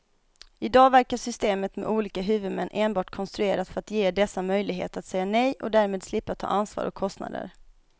I dag verkar systemet med olika huvudmän enbart konstruerat för att ge dessa möjlighet att säga nej och därmed slippa ta ansvar och kostnader.